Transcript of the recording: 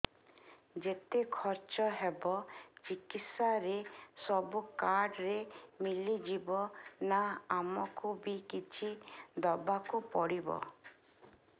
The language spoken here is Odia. ଯେତେ ଖର୍ଚ ହେବ ଚିକିତ୍ସା ରେ ସବୁ କାର୍ଡ ରେ ମିଳିଯିବ ନା ଆମକୁ ବି କିଛି ଦବାକୁ ପଡିବ